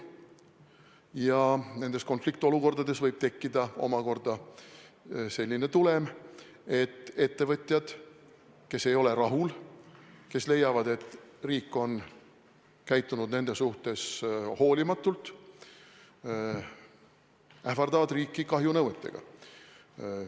Ja nendes konfliktolukordades võib tekkida selline tulem, et ettevõtjad, kes ei ole rahul, kes leiavad, et riik on käitunud nende suhtes hoolimatult, ähvardavad riiki kahjunõuetega.